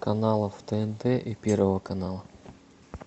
каналов тнт и первого канала